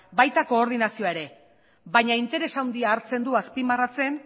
baita koordinazioa ere baina interes handia hartzen du azpimarratzen